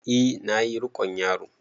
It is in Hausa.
E na ƴi rikon yaro.